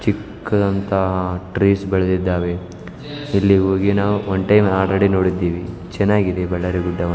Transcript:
ಚಿಕ್ಕದಾದಂತಹ trees ಬೆಳೆದಿದ್ದಾವೆ ಇಲ್ಲಿ ಹೋಗಿ ನಾವು ಒಂಟೇನು ಅಲ್ರೇಡಿ ನೋಡಿದ್ದೀವಿ ಚೆನ್ನಾಗಿದೆ ಬಳ್ಳಾರಿ ಗುಡ್ಡವನ್ನು .